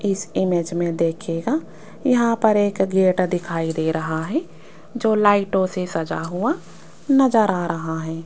इस इमेज में देखिएगा यहां पर एक गेट दिखाई दे रहा है जो लाइटों से सजा हुआ नजर आ रहा हैं।